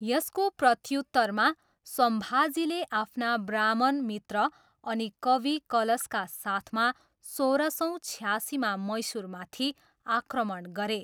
यसको प्रत्युत्तरमा, सम्भाजीले आफ्ना ब्राह्मण मित्र अनि कवि कलशका साथमा सोह्र सौ छयासीमा मैसुरमाथि आक्रमण गरे।